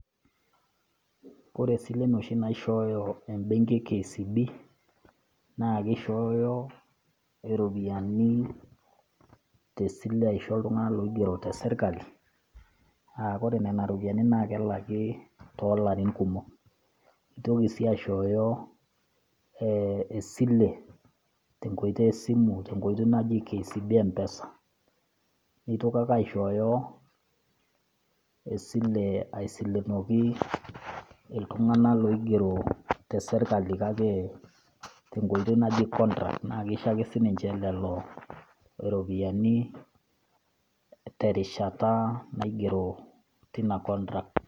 kore silen oshi naishooyoe ebenki e kcb,naa kishooyo iropiyiani te sile aisho iltunganak oigero te sirkali, aa ore nena ropiyiani naa kelaki too laarin kumok. intoki sii aishoooyo esile te nkoitoi esimu.te nkoitoi naji kcb mpesa. nitoki ake aishooyo esile aisilenoki iltunganak loigero te sirkali kake te nkoitoi naji contract naa kisho ake si ninche lelo ropiyiani terishata naigero teina contract.